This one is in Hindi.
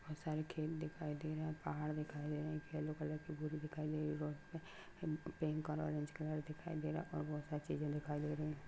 बहुत सारे खेत दिखाई दे रहा पहाड़ दिखाई दे रहे एक येलो कलर की बोरी दिखाई दे रही है रोड पे पिंक और ऑरेंज कलर दिखाई दे रहा है और बहुत सारी चीजे दिखाई दे रही है।